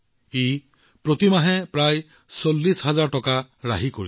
ইয়াৰ ফলত প্ৰতি মাহে প্ৰায় ৪০০০০ টকা ৰাহি হৈছে